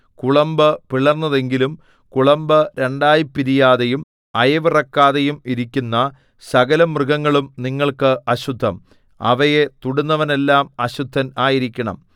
കുളമ്പ് പിളർന്നതെങ്കിലും കുളമ്പ് രണ്ടായി പിരിയാതെയും അയവിറക്കാതെയും ഇരിക്കുന്ന സകലമൃഗങ്ങളും നിങ്ങൾക്ക് അശുദ്ധം അവയെ തൊടുന്നവനെല്ലാം അശുദ്ധൻ ആയിരിക്കണം